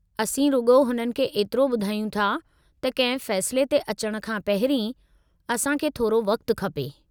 असीं रुॻो हुननि खे एतिरो ॿुधायूं था त कंहिं फ़ैसिले ते अचणु खां पहिरीं असां खे थोरो वक़्तु खपे।